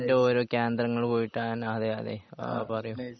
അതിൻ്റെ ഓരോ കേന്ദ്രങ്ങള് പോയിട്ട് അങ്ങനെ അതെ അതെ ആ പറയ്